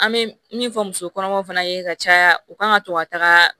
An bɛ min fɔ muso kɔnɔmaw fana ye ka caya u kan ka to ka taga